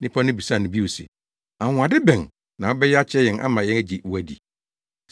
Nnipa no bisaa no bio se, “Anwonwade bɛn na wobɛyɛ akyerɛ yɛn ama yɛagye wo adi?